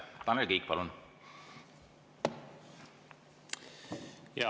Tanel Kiik, palun!